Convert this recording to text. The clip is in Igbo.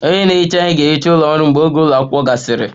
Onye na-ehicha ihe ga-ehicha ụlọ ọrụ mgbe oge ụlọ akwụkwọ gasịrị